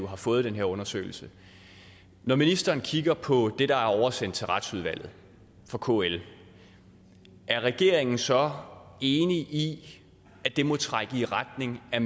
har fået den her undersøgelse når ministeren kigger på det der er oversendt til retsudvalget fra kl er regeringen så enig i at det må trække i retning af